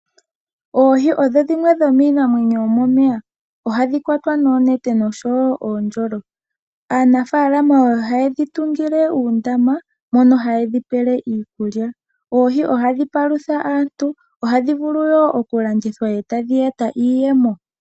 Oohi odho dhimwe dhomiinamwenyo yomomeya. Ohadhi kwatwa noonete nosho wo oondjolo. Aanafaalama ohaye dhi tungile uundama mono haye dhipele iikulya. Oohi ohadhi palutha aantu, ohadhi vulu wo oku landithwa eta dhi eta iiyemo.